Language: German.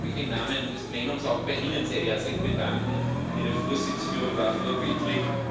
Ich möchte mich im Namen des Plenums auch bei Ihnen sehr herzlich bedanken. Ihre Vorsitzführung war vorbildlich.